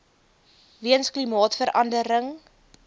weens klimaatsverande ring